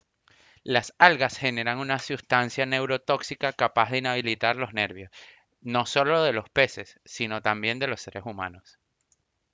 las algas generan una sustancia neurotóxica capaz de inhabilitar los nervios no solo de los peses sino también de los seres humanos